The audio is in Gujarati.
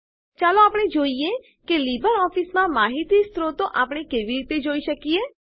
ચાલો આપણે જોઈએ કે લીબરઓફીસમાં માહિતી સ્ત્રોતો આપણે કેવી રીતે જોઈ શકીએ